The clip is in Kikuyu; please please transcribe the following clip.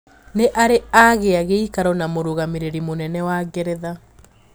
Niari agia giikaro na Mugamireri muynene wa Geretha.